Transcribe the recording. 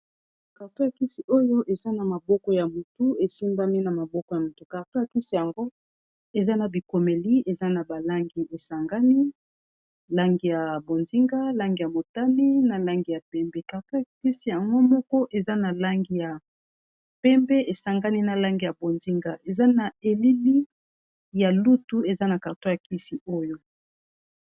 Cartor ya kisi oyo eza na maboko ya mutu e simbami na maboko ya motu carton ya kisi yango eza na bikomeli , eza na ba langi e sangani, langi ya bonzinga, langi ya motane, na langi ya pembe . Cartor ya kisi yango moko eza na langi ya pembe e sangani na langi ya bonzinga, eza na elili ya lutu eza na carton ya kisi oyo .